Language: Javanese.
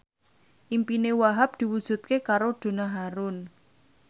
impine Wahhab diwujudke karo Donna Harun